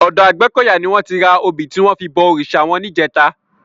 Òdò Agbekoya ni wòn ti rá óbi tiwòn fi bò órisá wòn nijètá